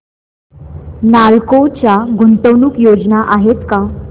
नालको च्या गुंतवणूक योजना आहेत का